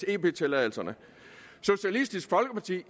ep tilladelserne socialistisk folkeparti